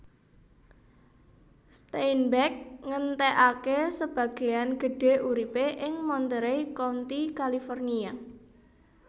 Steinbeck ngentèkaké sebagéan gedhé uripé ing Monterey County California